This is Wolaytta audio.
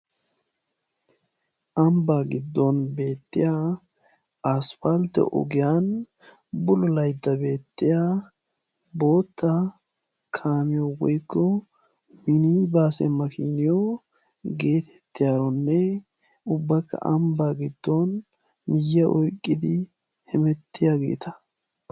ambbaa giddon beettiya aspaltte ogiyan bululaydda beettiya bootta kaamiyo woykko minibaase makiiniyo geetettiyaranne ubbaka ambbaa giddon miyyiya oykki hemettiyaageeta.